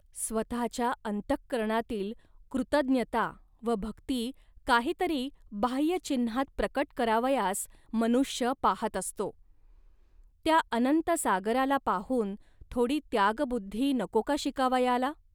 स्वतःच्या अंतःकरणातील कृतज्ञता व भक्ती काही तरी बाह्य चिन्हात प्रकट करावयास मनुष्य पाहात असतो. त्या अनंत सागराला पाहून थोडी त्यागबुद्धी नको का शिकावयाला